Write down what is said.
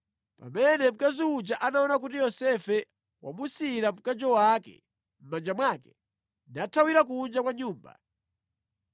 Pamene mkazi uja anaona kuti Yosefe wamusiyira mkanjo wake mʼmanja mwake nathawira kunja kwa nyumba,